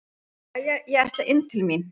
Jæja, ég ætla inn til mín.